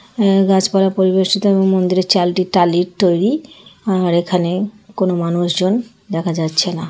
গাছপালা পরিবেশিত এবং মন্দিরের চালটি টালির তৈরি আর এখানে- কোন মানুষজন দেখা যাচ্ছে না।